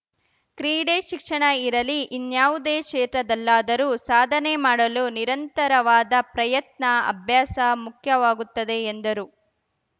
ಕ್ರೀಡೆ ಶಿಕ್ಷಣ ಇರಲಿ ಇನ್ಯಾವುದೇ ಕ್ಷೇತ್ರದಲ್ಲಾದರೂ ಸಾಧನೆ ಮಾಡಲು ನಿರಂತರವಾದ ಪ್ರಯತ್ನ ಅಭ್ಯಾಸ ಮುಖ್ಯವಾಗುತ್ತದೆ ಎಂದರು